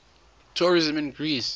tourism in greece